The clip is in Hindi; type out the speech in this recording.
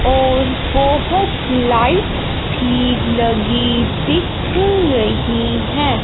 और बहोत लाइट्स भी लगी दिख रही है।